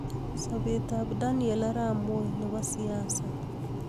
Sobeet ab daniel arap moi nebo siasa